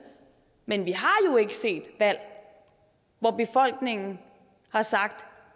men vi har ikke set valg hvor befolkningen har sagt